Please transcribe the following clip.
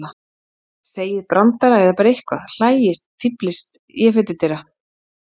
Segið brandara eða bara eitthvað, hlæið, fíflist. ég fer til dyra